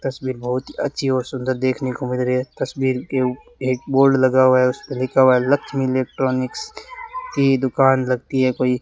तस्वीर बहोत ही अच्छी और सुंदर देखने को मिल रही है तस्वीर के ऊ एक बोर्ड लगा हुआ है उसपे लिखा हुआ है लक्ष्मी इलेक्ट्रॉनिक्स की दुकान लगती है कोई।